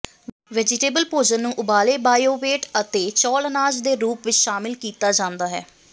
vegetable ਭੋਜਨ ਨੂੰ ਉਬਾਲੇ ਬਾਇਓਵੇਟ ਅਤੇ ਚੌਲ਼ ਅਨਾਜ ਦੇ ਰੂਪ ਵਿੱਚ ਸ਼ਾਮਲ ਕੀਤਾ ਜਾਂਦਾ ਹੈ